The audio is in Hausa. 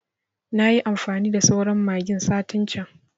Nayi amfani da sauran magin satin can